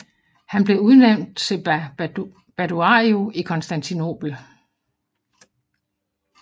Han blev udnævnt til Baduario i Konstantinobel